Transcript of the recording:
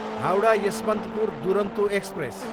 Howrah, Yesvantpur Duronto express